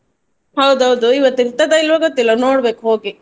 ಹೌದೌದು ಇವತ್ತು ಇರ್ತದ ಇಲ್ವಾ ಗೊತ್ತಿಲ್ಲ ನೋಡ್ಬೇಕು ಹೋಗಿ.